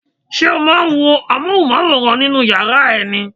Ṣé o máa ń wo Amóhùnmáwòrán nínú yàrá ẹ ni?